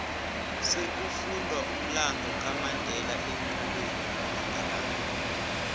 sekufundwa umlando kamandela eenkolweni amalanga la